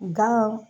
Gan